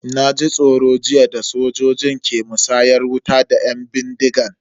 Na ji tsoro jiya da sojojin ke musayar wuta da yan bindigan.